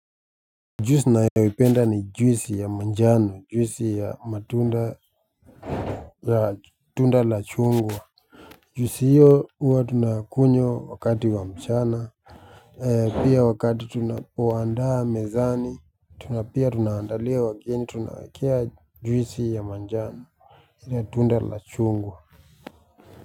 Juisi nayoipenda ni juisi ya manjano juisi ya matunda ya tunda la chungwa juisi hio huwa tunakunywa wakati wa mchana pia wakati tunapoandaa mezani tuna pia tunaandalia wageni tunawaekea juisi ya manjano ile tunda la chungwa.